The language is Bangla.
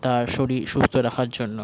তার শরীর সুস্থ রাখার জন্য।